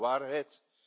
Dat is de waarheid.